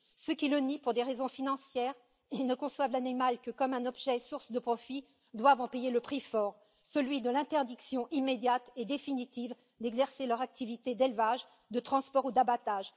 Ceux qui le nient pour des raisons financières ne conçoivent l'animal que comme un objet source de profits, ils doivent en payer le prix fort, celui de l'interdiction immédiate et définitive d'exercer leur activité d'élevage, de transport ou d'abattage.